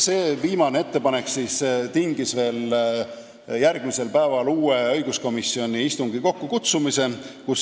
See viimane ettepanek tingis veel järgmisel päeval õiguskomisjoni uue istungi kokkukutsumise.